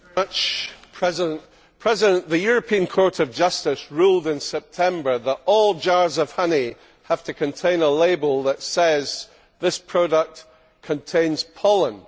Mr President, the European Court of Justice ruled in September that all jars of honey have to contain a label that says This product contains pollen'.